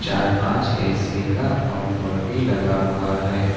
अ पांच ए_सी का आउटडोर भी लगा हुआ है।